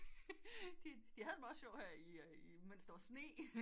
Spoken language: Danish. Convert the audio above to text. De havde det meget sjovt her i mens der var sne